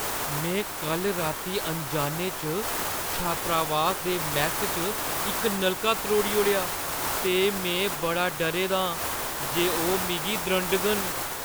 में कल्ल राती अनजाने च छात्रावास दे मैस्स च इक नलका त्रोड़ी ओड़ेआ ते में बड़ा डरे दा आं जे ओह् मिगी द्रंडङन।